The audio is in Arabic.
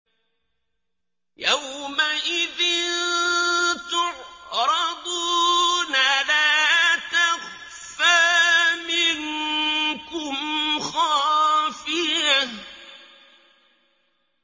يَوْمَئِذٍ تُعْرَضُونَ لَا تَخْفَىٰ مِنكُمْ خَافِيَةٌ